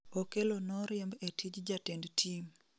okello noriemb e tij jatend tim